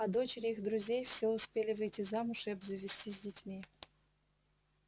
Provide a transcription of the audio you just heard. а дочери их друзей все успели выйти замуж и обзавестись детьми